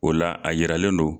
O la a yiralen don